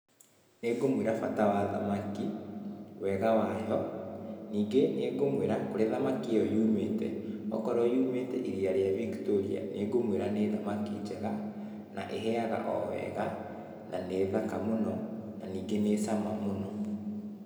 Nĩngũmũĩra bata wa thamaki, wega wayo, ningĩ nĩngũmwĩra kũria thamaki ĩyo yumĩte. Okorwo yumĩte iria rĩa Victoria nĩngũmwĩra nĩ thamaki njega, na ĩhĩaga o wega, na nĩthaka mũno, na ningĩ nĩ cama mũno.